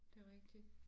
Det rigtig